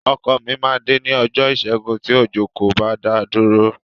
Ọkọ mi máa dé ní ọjọ́ Ìṣẹ́gun tí òjò kò bá dá a dúró.